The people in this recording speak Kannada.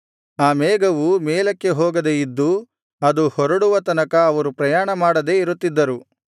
ಆ ಮೇಘವು ಮೇಲಕ್ಕೆ ಹೋಗದೇ ಇದ್ದು ಅದು ಹೊರಡುವ ತನಕ ಅವರು ಪ್ರಯಾಣ ಮಾಡದೆ ಇರುತ್ತಿದ್ದರು